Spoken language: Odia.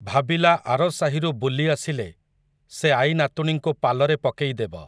ଭାବିଲା ଆର ସାହିରୁ ବୁଲି ଆସିଲେ, ସେ ଆଈନାତୁଣୀଙ୍କୁ ପାଲରେ ପକେଇଦେବ ।